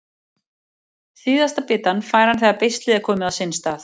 Síðasta bitann fær hann þegar beislið er komið á sinn stað.